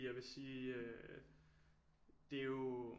Jeg vil sige øh det er jo